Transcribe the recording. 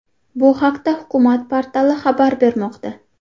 Bu haqda hukumat portali xabar bermoqda .